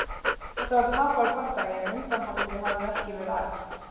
Þetta var tapaður bardagi en undanhaldið hafði ekki verið æft.